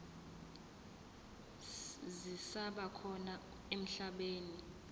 zisaba khona emhlabeni